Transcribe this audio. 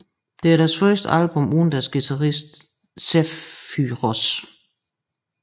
Det er deres første album uden deres guitarist Zephyrous